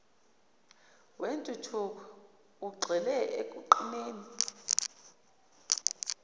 wentuthuko ugxile ekuqineni